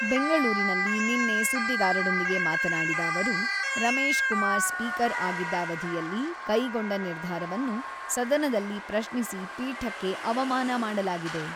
ಬೆಂಗಳೂರಿನಲ್ಲಿ ನಿನ್ನೆ ಸುದ್ದಿಗಾರರೊಂದಿಗೆ ಮಾತನಾಡಿದ ಅವರು, ರಮೇಶ್ ಕುಮಾರ್ ಸ್ಪೀಕರ್ ಆಗಿದ್ದ ಅವಧಿಯಲ್ಲಿ ಕೈಗೊಂಡ ನಿರ್ಧಾರವನ್ನು ಸದನದಲ್ಲಿ ಪ್ರಶ್ನಿಸಿ ಪೀಠಕ್ಕೆ ಅವಮಾನ ಮಾಡಲಾಗಿದೆ.